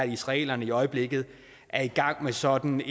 israelerne i øjeblikket er i gang med sådan